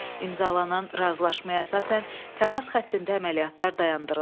İmzalanan razılaşmaya əsasən təmas xəttində əməliyyatlar dayandırıldı.